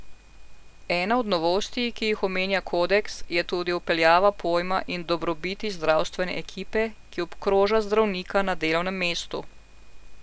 Ena od novosti, ki jih omenja kodeks, je tudi vpeljava pojma in dobrobiti zdravstvene ekipe, ki obkroža zdravnika na delovnem mestu.